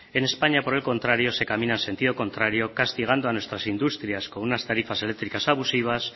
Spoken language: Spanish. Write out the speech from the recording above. en españa por el contrario se camina en sentido contrario castigando a nuestras industrias con unas tarifas eléctricas abusivas